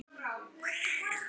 Skal sýna honum klærnar núna.